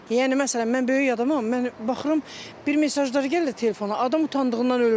Yəni məsələn, mən böyük adamam, mən baxıram bir mesajlar gəlir telefona, adam utandığından ölür.